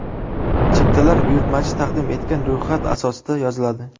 Chiptalar buyurtmachi taqdim etgan ro‘yxat asosida yoziladi.